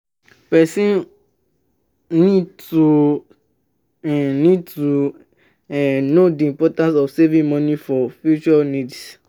person um need to um need to um know di importance of saving money for future needs